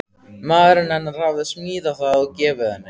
Maðurinn hennar hafði smíðað það og gefið henni.